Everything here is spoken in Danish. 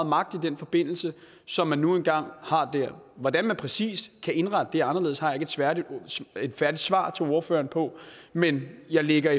magt i den forbindelse som den nu engang har hvordan man præcis kan indrette det anderledes har jeg ikke et færdigt svar til ordføreren på men jeg ligger